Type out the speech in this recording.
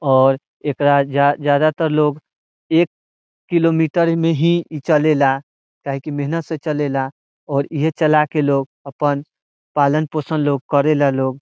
और एकरा जा ज्यादा तर लोग एक किलोमीटर में ही चले ला | काहे की मेहनत से चले ला और इहे चला के लोग अपन पालन पोसन लोग करेला लोग |